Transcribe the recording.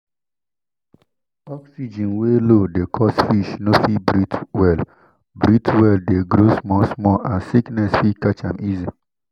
oxygen wey low dey cause fish no fit breathe well breathe well de grow small small and sickness fit catch am easy